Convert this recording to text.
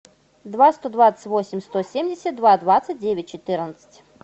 два сто двадцать восемь сто семьдесят два двадцать девять четырнадцать